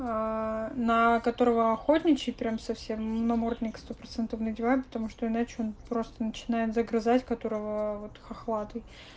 аа на которого охотничий прямо совсем ему намордник сто процентов надеваю потому что иначе он просто начинает загрызать которого вот хохлатый